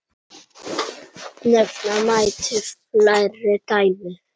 Nefna mætti fleiri dæmi.